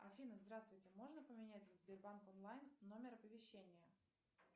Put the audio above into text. афина здравствуйте можно поменять в сбербанк онлайн номер оповещения